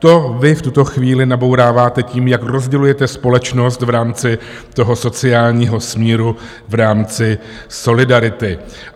- To vy v tuto chvíli nabouráváte tím, jak rozdělujete společnost v rámci toho sociálního smíru v rámci solidarity.